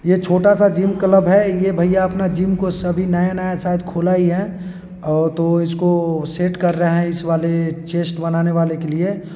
ये छोटा सा जिम क्लब है ये भैया अपना जिम को सभी नया-नया शायद खुला ही है और तो इसको सेट कर रहे हैं इस वाले चेस्ट बनाने वाले के लिए--